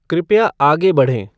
कृपया आगे बढ़ें